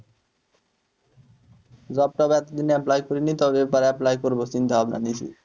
job টব এতদিন apply করিনি তবে এবার apply করবো চিন্তা ভাবনা নিয়েছি।